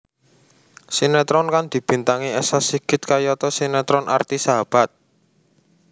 Sinetron kang dibintangi Esa Sigit kayata sinetron Arti Sahabat